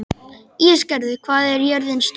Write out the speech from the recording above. Ísgerður, hvað er jörðin stór?